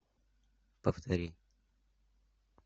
повтори